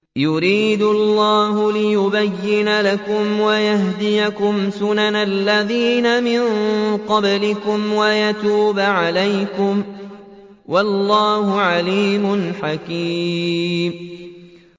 يُرِيدُ اللَّهُ لِيُبَيِّنَ لَكُمْ وَيَهْدِيَكُمْ سُنَنَ الَّذِينَ مِن قَبْلِكُمْ وَيَتُوبَ عَلَيْكُمْ ۗ وَاللَّهُ عَلِيمٌ حَكِيمٌ